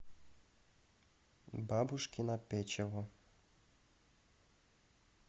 бабушкино печево